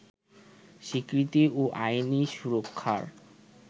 স্বীকৃতি ও আইনি সুরক্ষার